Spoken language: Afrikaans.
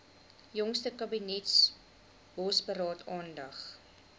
jongste kabinetsbosberaad aandag